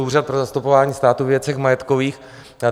Úřad pro zastupování státu ve věcech majetkových.